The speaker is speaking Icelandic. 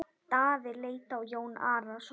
Daði leit á Jón Arason.